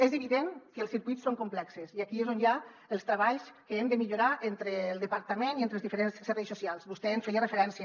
és evident que els circuits són complexos i aquí és on hi ha els treballs que hem de millorar entre el departament i entre els diferents serveis socials vostè hi feia referència